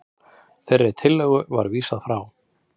Þeirri tillögu var vísað frá